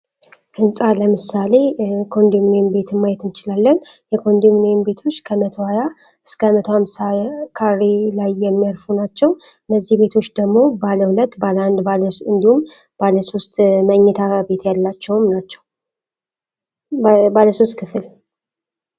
ህንፃ ለምሳሌ ኮንዶሚኒየም ቤት ማየት እንችላለን የኮንዶሚኒየም ቤቶች ከመቶሃያ እስከ መቶሃምሳ ካሬ ላይ የሚያርፉ ናቸው። እነዚህ ቤቶች ደግሞ ባለአንድ ባለ ሁለት እንዲሁም ባለ ሶስት መኝታ ያላቸው ናቸው።